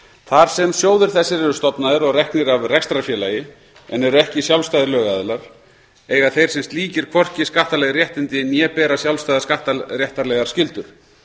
þar sem sjóðir þessir eru stofnaðir og reknir af rekstrarfélagi en eru ekki sjálfstæðir lögaðilar eiga þeir sem slíkir hvorki skattaleg réttindi né bera sjálfstæðar skattaréttarlegar skyldur